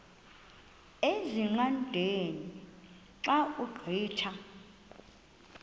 ezingqaqeni xa ugqitha